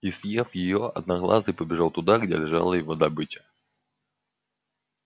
и съев её одноглазый побежал туда где лежала его добыча